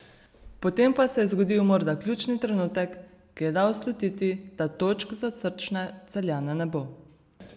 Potem pa se je zgodil morda ključni trenutek, ki je dal slutiti, da točk za srčne Celjane ne bo.